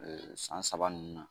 San saba ninnu na.